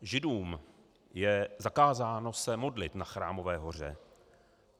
Židům je zakázáno se modlit na Chrámové hoře.